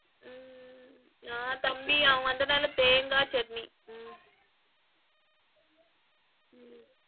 உம் நா தம்பி அவங்க வந்த நாளெல்லாம் தேங்கா சட்னி உம் உம்